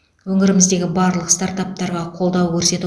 өңіріміздегі барлық стартаптарға қолдау көрсету